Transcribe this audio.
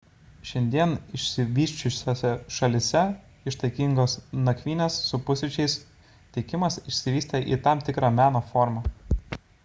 šiandien išsivysčiusiose šalyse ištaigingos nakvynės su pusryčiais teikimas išsivystė į tam tikrą meno formą